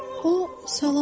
O, salam dedi.